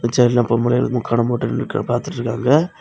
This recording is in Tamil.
சேர்ல பொம்பளைங்கலும் முக்காடும் போட்டு நிண்டு பாத்துட்டு இருக்காங்க.